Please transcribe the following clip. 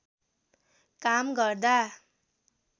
काम गर्दा